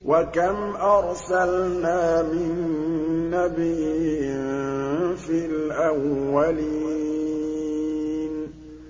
وَكَمْ أَرْسَلْنَا مِن نَّبِيٍّ فِي الْأَوَّلِينَ